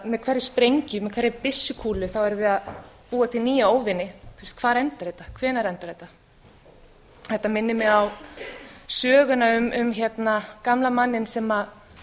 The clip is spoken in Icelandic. með hverri sprengju hverri byssukúlu erum við að búa til nýja óvini hvar endar þetta hvenær endar þetta þetta minnir mig á söguna um gamla manninn sem